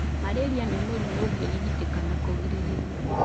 Malari nĩ mũrimũ ũngĩrigitĩka na kũgirĩrio.